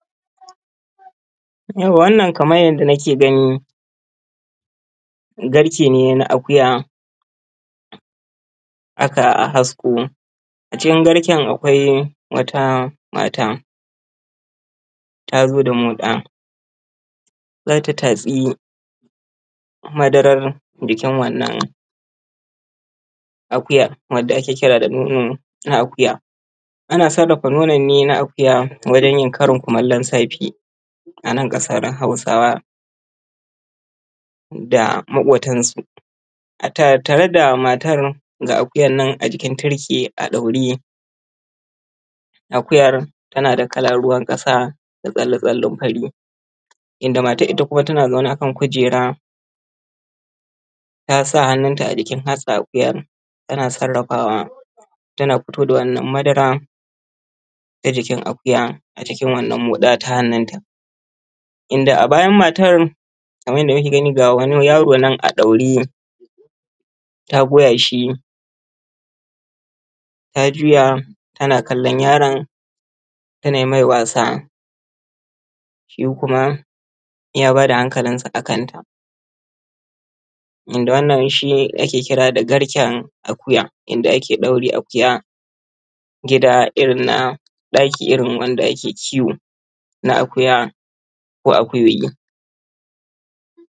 Yawwa wannan kamar yanda kuke gani garke ne na akuya aka hasko. A cikin garken akwai wata mata ta zo da moɗa za ta tatsi madaran jikin wannan akuyan wanda ake kira da nono na akuya. Ana sarrafa nonon ne na akuya wajan yin karin kumallon safe a nan ƙasar hausawa da moƙotansu. A tattare da matar ga akuyar nan a jikin tirke a ɗaure, akuyar tana da kalan ruwan ƙasa da tsilli tsillin fari, inda matan ita kuma tana zaune a kan kujera ta sa hannunta a cikin hantsan akuyan tana sarrafawa tana fitowa da wannan madaran ta jikin akuyan a cikin wannan moɗa ta hannun ta. Inda a bayan matan kaman yadda muke gani ga wani yaro nan a ɗaure ta goya shi ta juya ta na kallon yaron ta nai mai wasa, shi kuma ya ba da hakalinsa a kan ta. Inda wannan shi ake kira da garken akuya inda ake ɗaure akuya, gida irin na ɗakin irin wanda ake kiwo na akuya ko akuyoyi.